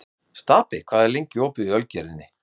Stapi, hvað er lengi opið í Ölgerðinni?